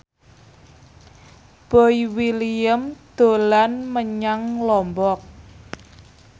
Boy William dolan menyang Lombok